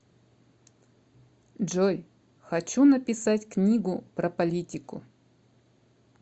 джой хочу написать книгу про политику